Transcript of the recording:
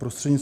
Prosím.